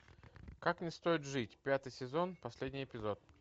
как не стоит жить пятый сезон последний эпизод